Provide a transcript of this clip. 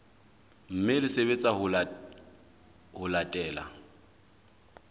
mme le sebetsa ho latela